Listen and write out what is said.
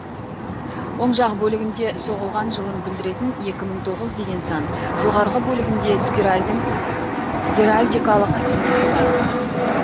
оң жақ бөлігінде соғылған жылын білдіретін екі мың тоғыз деген сан жоғарғы бөлігінде спиральдың геральдикалық бейнесі бар